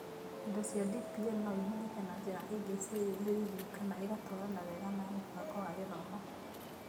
Indo cia DPL no ihũthĩke na njĩra ingĩ ciĩyumĩririe, kana igatwarana wega na mũbango wa gĩthomo.